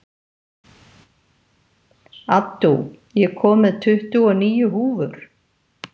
Addú, ég kom með tuttugu og níu húfur!